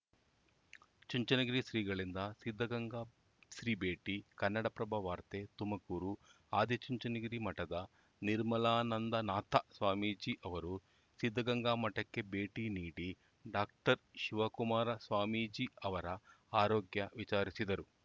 ಚುಂಚನಗಿರಿ ಶ್ರೀಗಳಿಂದ ಸಿದ್ಧಗಂಗಾ ಶ್ರೀ ಭೇಟಿ ಕನ್ನಡಪ್ರಭ ವಾರ್ತೆ ತುಮಕೂರು ಆದಿಚುಂಚನಗಿರಿ ಮಠದ ನಿರ್ಮಲಾನಂದನಾಥ ಸ್ವಾಮೀಜಿ ಅವರು ಸಿದ್ಧಗಂಗಾ ಮಠಕ್ಕೆ ಭೇಟಿ ನೀಡಿ ಡಾಕ್ಟರ್ ಶಿವಕುಮಾರ ಸ್ವಾಮೀಜಿ ಅವರ ಆರೋಗ್ಯ ವಿಚಾರಿಸಿದರು